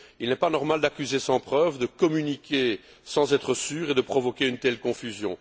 Il n'est pas normal d'accuser sans preuves, de communiquer sans être sûr et de provoquer une telle confusion.